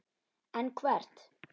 En hvert?